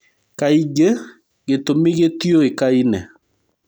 Kaingĩ gĩtumĩ gĩtiũĩkaine.